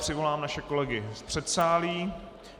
Přivolám naše kolegy z předsálí.